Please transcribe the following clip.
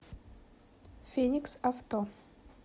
феникс авто